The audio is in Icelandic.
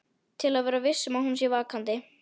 Til að vera viss um að hún sé vakandi.